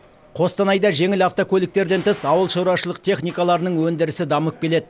қостанайда жеңіл автокөліктерден тыс ауылшаруашылық техникаларының өндірісі дамып келеді